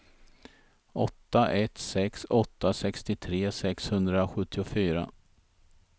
åtta ett sex åtta sextiotre sexhundrasjuttiofyra